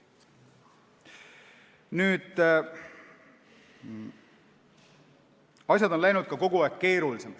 Asjad on läinud kogu aeg ka keerulisemaks.